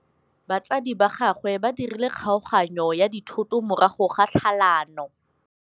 Batsadi ba gagwe ba dirile kgaoganyô ya dithoto morago ga tlhalanô.